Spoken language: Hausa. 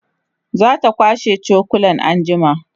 zata kwashe cokulan anjima